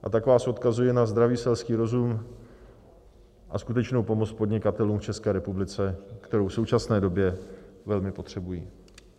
A tak vás odkazuji na zdravý selský rozum a skutečnou pomoc podnikatelům v České republice, kterou v současné době velmi potřebují.